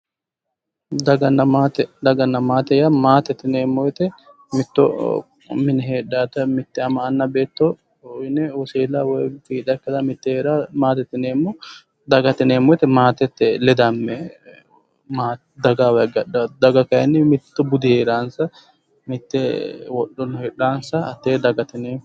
Daganna maatte, daganna maatte yaa maatte yineemo woyiite mitto mine heedhaata mitte amanna anna beetto yinne wosiilla woy fiixa ikke mittee heedhaata maatette yineemo. dagate yineemoti maatette ledame maatte dagayiiwa hige hadhaatta mittu budi heeransa mitte wodhonno heedhansa hatee dagate yineemo.